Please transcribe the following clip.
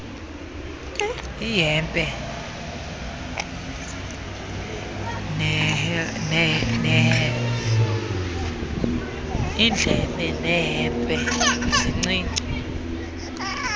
ihdpe neldpe sincinci